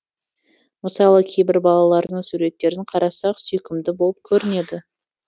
мысалы кейбір балалардың суреттерін қарасақ сүйкімді болып көрінеді